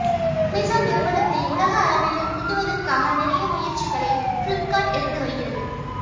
Amazon நிறுவனத்தை உலக அளவில் முந்துவதற்காக நிறைய முயற்சிகளை பிளிப்கார்ட் எடுத்து வருகிறது